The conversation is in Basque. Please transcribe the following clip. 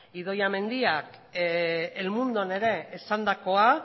idoia mendiak el mundon ere esandakoa